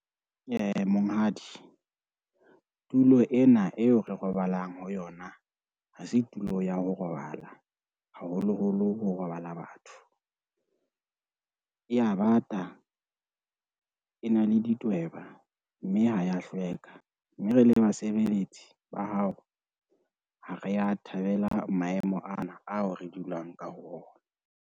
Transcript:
Monghadi, tulo ena eo re robalang ho yona, ha se tulo ya ho robala haholoholo ho robala batho. E ya bata, e na le ditweba, mme ha ya hlweka mme re le basebeletsi ba hao, ha re ya thabela maemo ana ao re dulang ka ho ona.